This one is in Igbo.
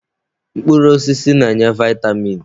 Mkpụrụ osisi na-enye vitamin.